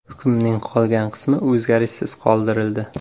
Hukmning qolgan qismi o‘zgarishsiz qoldirildi.